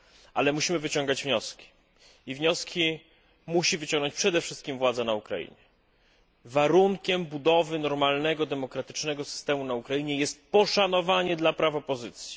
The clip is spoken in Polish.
Ale musimy wyciągać wnioski i wnioski musi wyciągnąć przede wszystkim władza na Ukrainie. Warunkiem budowy normalnego demokratycznego systemu na Ukrainie jest poszanowanie dla praw opozycji.